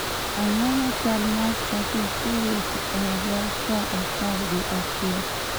Ang�o ma chal ma trafik ka owuok e otna saa apar gi achiel?